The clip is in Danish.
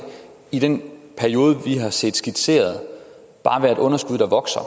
i den periode vi har set skitseret bare være et underskud der vokser